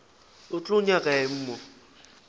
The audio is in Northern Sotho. o tlo nyaka eng mo